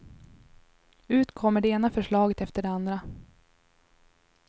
Ut kommer det ena förslaget efter det andra.